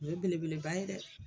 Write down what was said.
O ye belebeleba ye dɛ